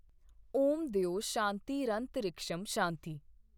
ਓਮ ਦਯੌ ਸ਼ਾਂਤੀਰੰਤਰਿਕਸ਼ੰ ਸ਼ਾਂਤੀ